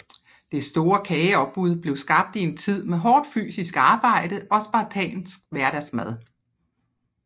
Det store kageopbud blev skabt i en tid med hårdt fysisk arbejde og spartansk hverdagsmad